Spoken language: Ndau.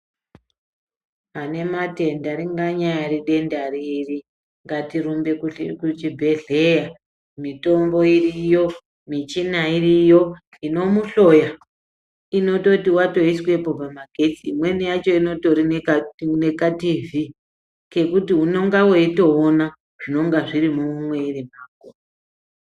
Ane matenda ringanyari denda riri ngatirumbe kuhli kuchibhedhleya mitombo iriyo michina iriyo inomuhloya inototi watoiswepo pamagetsi imweni yacho inotorineka nekatiivhii kekuti unenga weitoona zvinonga zviri mumwiri mwako.